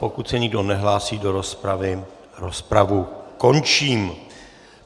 Pokud se nikdo nehlásí do rozpravy, rozpravu končím.